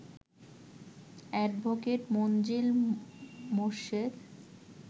advocate Manzill Morshed